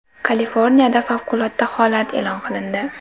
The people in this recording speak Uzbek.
Kaliforniyada favqulodda holat e’lon qilindi.